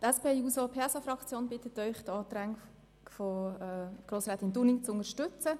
Die SP-JUSO-PSAFraktion bittet Sie, die Anträge von Grossrätin Dunning zu unterstützen.